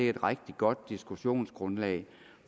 et rigtig godt diskussionsgrundlag